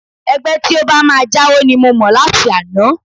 Ẹgbẹ́ tí ó bá máa jáwo ni mo mọ̀ láti àná